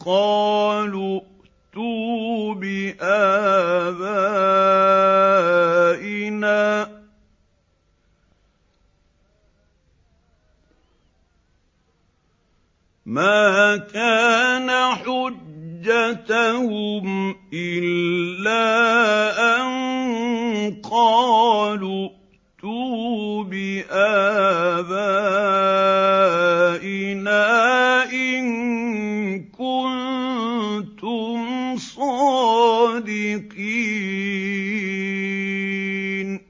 قَالُوا ائْتُوا بِآبَائِنَا إِن كُنتُمْ صَادِقِينَ